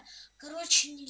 короче